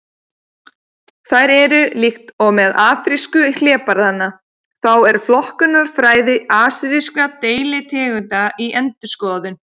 Þær eru: Líkt og með afrísku hlébarðanna þá er flokkunarfræði asískra deilitegunda í endurskoðun.